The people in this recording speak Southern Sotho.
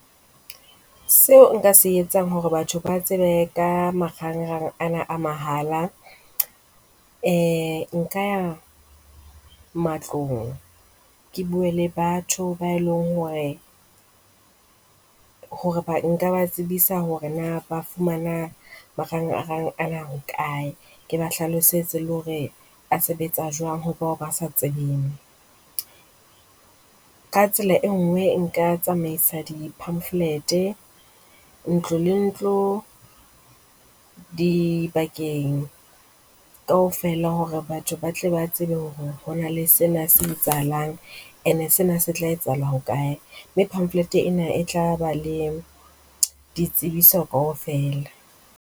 Seo nka se etsang hore batho ba tsebe ka marangrang ana a mahala. Ee Nka ya matlong, ke bue le batho bao e leng hore hore nka tsebisa hore na ba fumana marangrang ana ho kae. Ke ba hlalosetse le hore a sebetsa jwang ho bao ba sa tsebeng. Ka tsela e nngwe nka tsamaisa di-pamphlet ntlo le ntlo dibakeng kaofela hore batho ba tle ba tsebe hore ho na le sena se etsahalang ene sena se tla etsahala ho kae, mme pamphlet ena e tlaba le ditsebiso kaofela.